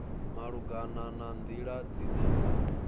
malugana na nḓila dzine dza